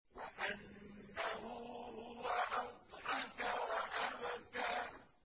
وَأَنَّهُ هُوَ أَضْحَكَ وَأَبْكَىٰ